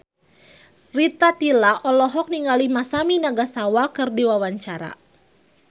Rita Tila olohok ningali Masami Nagasawa keur diwawancara